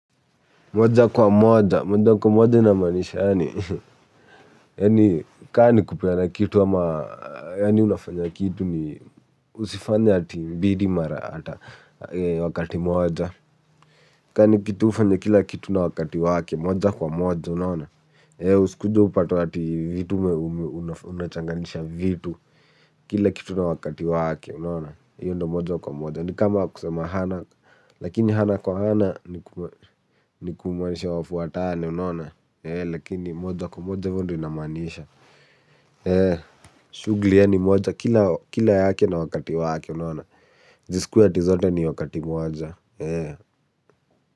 Moja kwa moja moja kwa moja ina maanisha yaani yani kama ni kupeana kitu kama unafanya kitu usifanye ati mbili mara wakati moja. Kama ni kitu ufanye kila kitu na wakati wake, moja kwa moja, unaona? Usikuje upate ati vitu ume unachanganisha vitu. Kila kitu na wakati wake unaona. Hiyo ndo moja kwa moja. Ni kama kusema hana. Lakini ana kwa ana ni kumaanisha wafuatane unaona. Lakini moja kwa moja hivo ndo inamaanisha. Shughuli yani moja. Kila yake na wakati wake unaona. Zisikuwe ati zote ni wakati moja.